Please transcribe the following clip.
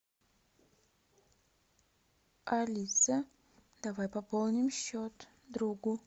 алиса давай пополним счет другу